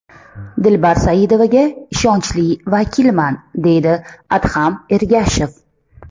Dilbar Saidovaga ishonchli vakilman, deydi Adham Ergashev.